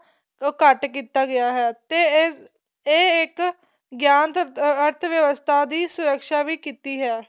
ਉਹ ਘੱਟ ਕੀਤਾ ਗਿਆ ਹੈ ਤੇ ਇਹ ਇੱਕ ਗਿਆਨ ਅਰਥ ਵਿਵਸਥਾ ਦੀ ਸੁਰੱਕ਼ਸਾਂ ਵੀ ਕੀਤਾ ਏ